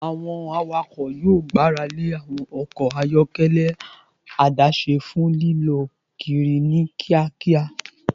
Awọn awakọ yoo gbarale awọn ọkọ ayọkẹlẹ adase fun lilọ kiri ni kiakia